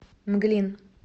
мглин